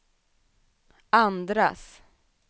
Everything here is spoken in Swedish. andras